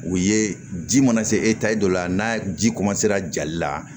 U ye ji mana se e ta ye dɔ la n'a ji ra jali la